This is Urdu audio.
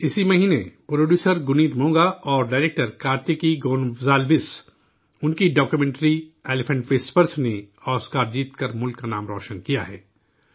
اسی مہینے، پروڈیوسر گنیت مونگا اور ڈائرکٹر کارتکی گونزالویس ان کی ڈاکیومنٹری 'ایلیفنٹ وسپیررز' نے آسکر جیت کر ملک کا نام روشن کیا ہے